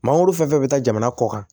Mangoro fɛn fɛn bɛ taa jamana kɔ kan